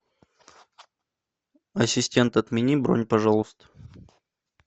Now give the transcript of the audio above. ассистент отмени бронь пожалуйста